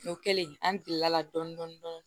O kɛlen an girila dɔɔnin dɔɔnin